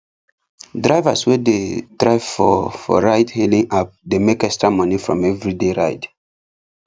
drivers wey dey drive for ride hailing app dey make extra money from everyday ride